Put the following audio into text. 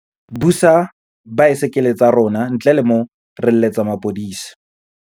Busa baesekele tsa rona, ntle le mo re letsetsa mapodise.